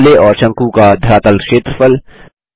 गोले और शंकु का धरातल क्षेत्रफल